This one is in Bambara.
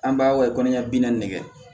An b'a wale kɔnɔ ɲɛ bi naani de ye